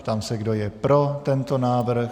Ptám se, kdo je pro tento návrh.